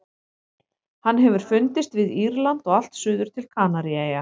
Hann hefur fundist við Írland og allt suður til Kanaríeyja.